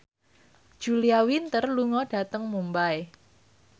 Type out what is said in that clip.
Julia Winter lunga dhateng Mumbai